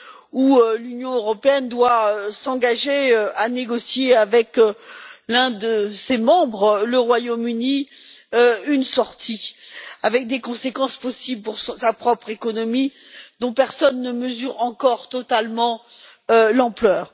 où l'Union européenne doit s'engager à négocier avec l'un de ses membres, le Royaume Uni, une sortie avec des conséquences possibles pour sa propre économie dont personne ne mesure encore totalement l'ampleur.